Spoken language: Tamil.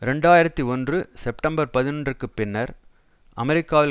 இரண்டு ஆயிரத்தி ஒன்று செப்டம்பர் பதினொன்று பின்னர் அமெரிக்காவில்